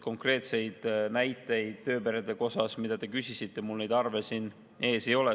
Konkreetseid näiteid tööperede kohta, mida te küsisite, mul neid arve siin ees ei ole.